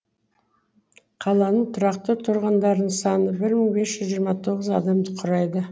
қаланың тұрақты тұрғындарының саны бір мың бес жүз жиырма тоғыз адамды құрайды